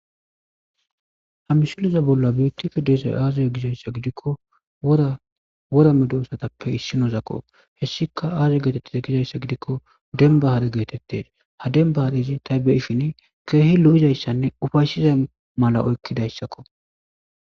Ha misileza bolla beettishe de'izay aazee gizayssa gidikko wora medosatappe issinozakko hessika aaze geetetteza gizayssa gidikko dembba hare geetettes ha dembba harezi ta beyishini keehi lo'izayssanne uffaysiza mala oykkidayssakko